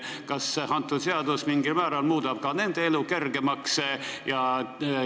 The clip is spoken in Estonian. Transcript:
Kas seadus mingil määral muudab ka nende elu kergemaks?